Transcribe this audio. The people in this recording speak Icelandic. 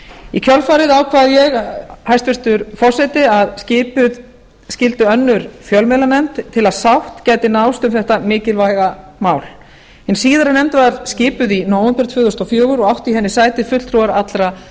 í kjölfarið ákvað ég hæstvirtur forseti að skipuð skyldi önnur fjölmiðlanefnd til að sátt gæti náðst um þetta mikilvæga mál hin síðari nefnd var skipuð í nóvember tvö þúsund og fjögur og áttu í henni sæti fulltrúar allra